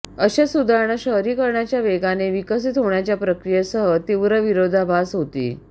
अशा सुधारणा शहरीकरणाच्या वेगाने विकसित होण्याच्या प्रक्रियेसह तीव्र विरोधाभास होती